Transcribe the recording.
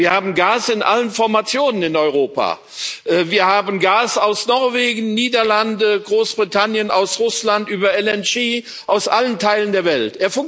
Wir haben Gas in allen Formationen in Europa Wir haben Gas aus Norwegen, den Niederlanden, Großbritannien, aus Russland, über Flüssigerdgas, aus allen Teilen der Welt.